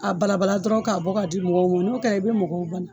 A bala bala dɔrɔn k'a bɔ k'a di mɔgɔw ma n'o kɛra i be mɔgɔw bana